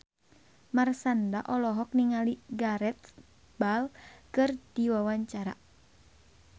Marshanda olohok ningali Gareth Bale keur diwawancara